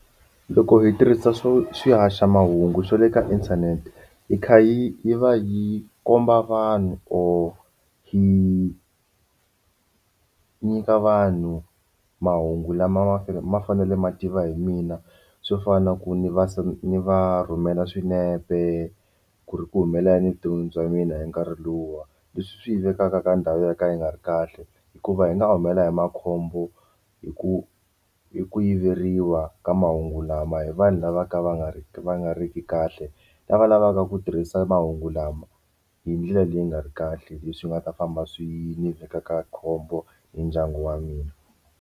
Loko hi tirhisa swo swihaxamahungu swa le ka inthanete hi kha hi yi va yi komba vanhu or hi nyika vanhu mahungu lama ma fanele ma fanele ma tiva hi mina swo fana na ku ni va ni va rhumela swinepe ku ri ku humelela yini evuton'wini bya mina hi nkarhi luwa leswi swi vekaka ka ndhawu yo ka yi nga ri kahle hikuva hi nga humelela hi makhombo hi ku ku yiveriwa ka mahungu lama hi vanhu lava ka va nga ri va nga ri ki kahle lava lavaka ku tirhisa mahungu lama hi ndlela leyi nga ri kahle leswi nga ta famba swi ni veka ka khombo ni ndyangu wa mina.